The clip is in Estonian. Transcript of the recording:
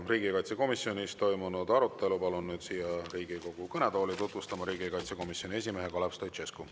Riigikaitsekomisjonis toimunud arutelu palun siia Riigikogu kõnetooli tutvustama riigikaitsekomisjoni esimehe Kalev Stoicescu.